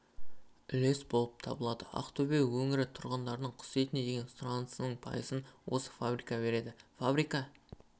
үлес болып табылады ақтөбе өңірі тұрғындарының құс етіне деген сұранысының пайызын осы фабрика береді фабрика